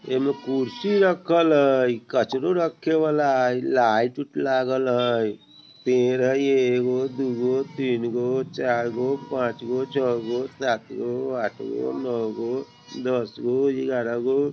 ए में कुर्सी रखल हई ई कचड़ो रखे वला हई लाइट उट लागल हई पेड़ हई एगो दूगो तीनगो चारगो पाँचगो छगो सातगो आठगो नौगो दसगो ग्यारहगो।